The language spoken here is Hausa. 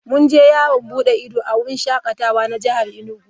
Mun je yawon bude ido a wurin shakatawa na jihar Enugu.